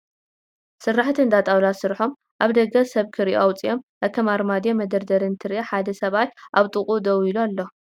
ስራሕቲ እንዳ ጣውላ ስርሖም ናብ ደገ ሰብ ክሪኤሎ ኣውፂኦም ኣከም ኣርማድዮ፣ መደርደሪ እንትንርኢ ሓደ ሰብኣይ ኣብ ጥቅኡ ደው ሉ ኣሎ ።